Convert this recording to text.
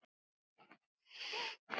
Hvaðan við komum.